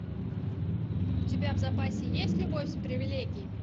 у тебя в запасе есть любовь с привелегиями